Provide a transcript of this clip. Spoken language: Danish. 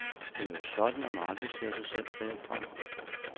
Det er jo sådan, at man aldrig ser sig selv bagfra.